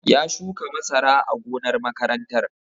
Ya shuka masara a gonar makarantar